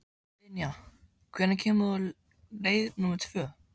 Dynja, hvenær kemur leið númer tvö?